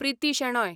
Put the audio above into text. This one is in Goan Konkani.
प्रिती शेणॉय